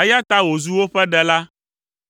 eya ta wòzu woƒe Ɖela.